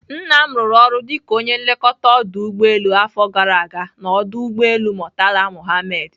Nna m rụrụ ọrụ dịka onye nlekọta ọdụ ụgbọelu afọ gara ga n'ọdụ ụgbọelu Murtala Muhammed.